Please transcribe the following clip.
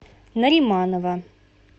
нариманова